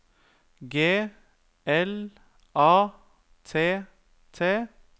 G L A T T